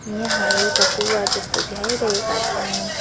यहाँ एउटा कुवा जस्तो देखाइरहेका छन्।